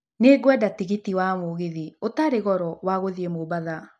Nĩ ngwenda tigiti wa mũgithi ũtarĩ goro wa gũthiĩ mombatha.